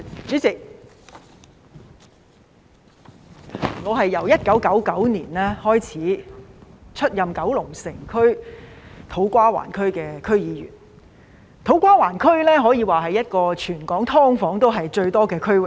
主席，我由1999年開始出任九龍城區、土瓜灣區的區議員，土瓜灣區可說是全港"劏房"最多的區域。